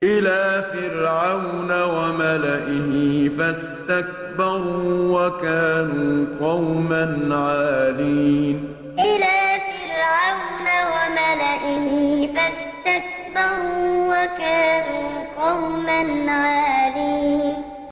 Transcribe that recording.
إِلَىٰ فِرْعَوْنَ وَمَلَئِهِ فَاسْتَكْبَرُوا وَكَانُوا قَوْمًا عَالِينَ إِلَىٰ فِرْعَوْنَ وَمَلَئِهِ فَاسْتَكْبَرُوا وَكَانُوا قَوْمًا عَالِينَ